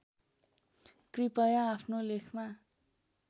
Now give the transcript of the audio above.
कृपया आफ्नो लेखमा